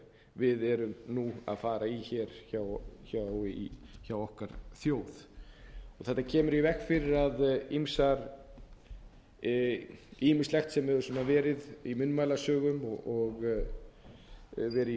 við erum nú að fara í hér hjá okkar þjóð þetta kemur í veg fyrir ýmislegt sem hefur verið í munnmælasögum og verið í gangi að það ætti í það minnsta að hreinsast að